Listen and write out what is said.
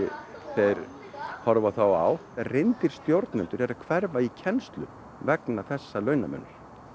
þeir horfa þá á reyndir stjórnendur eru að hverfa í kennslu vegna þessa launamunar